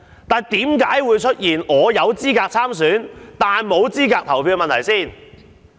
不過，為何我有資格參選但無資格投票？